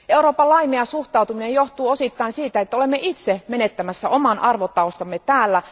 Euroopan laimea suhtautuminen johtuu osittain siitä, että olemme itse menettämässä oman arvotaustamme täällä.